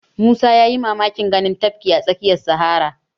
Musa ya yi mamakin ganin tafki a tsakiyar sahara